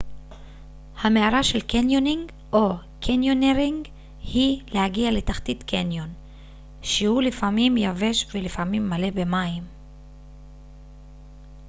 המארה של קניונינג או: קניונירינג היא להגיע לתחתית קניון שהוא לפעמים יבש ולפעמים מלא במים